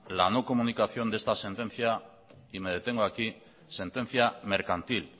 la no comunicación de esta sentencia y me detengo aquí sentencia mercantil